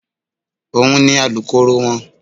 Òun ni Alukoro wọn.